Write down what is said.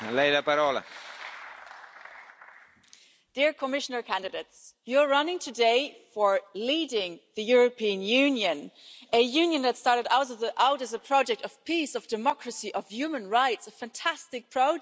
Mr President, dear Commissioner candidates, you are running today for leading the European Union a Union that started out as a project of peace, of democracy, of human rights a fantastic project.